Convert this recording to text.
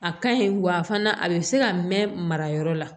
A ka ɲi wa fana a bɛ se ka mɛn marayɔrɔ la